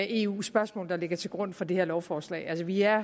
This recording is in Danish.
eu spørgsmål der ligger til grund for det her lovforslag altså vi er